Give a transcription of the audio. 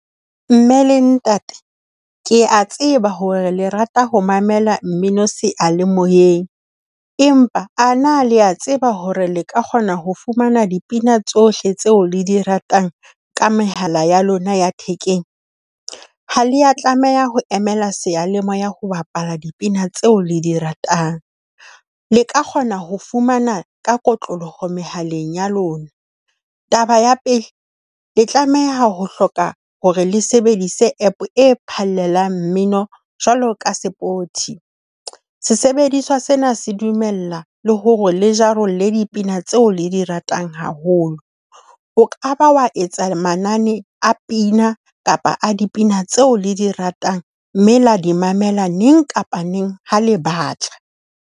Mme le ntate, kea tseba hore le rata ho mamela mmino seyalemoyeng, empa a na le a tseba hore le ka kgona ho fumana dipina tsohle tseo le di ratang ka mehala ya lona ya thekeng? Ha le a tlameha ho emela seyalemoya ho bapala dipina tseo le di ratang. Le ka kgona ho fumana ka kotloloho mehaleng ya lona. Taba ya pele, le tlameha ho hloka hore le sebedise App e phallelang mmino jwalo ka sports Sesebediswa sena se dumella le hore le jarollle le dipina tseo le di ratang haholo. O ka ba wa etsa manane a pina kapa a dipina tseo le di ratang, mme la di mamela neng kapa neng ha le batla.